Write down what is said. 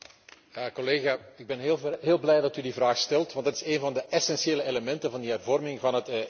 Ik ben heel blij dat u die vraag stelt, want het is een van de essentiële elementen van die hervorming van het ETS systeem.